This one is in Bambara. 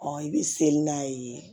i bɛ seli n'a ye